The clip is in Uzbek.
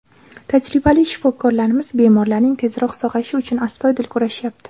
Tajribali shifokorlarimiz bemorlarning tezroq sog‘ayishi uchun astoydil kurashyapti.